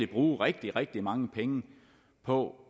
bruge rigtig rigtig mange penge på